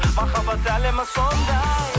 махаббат әлемі сондай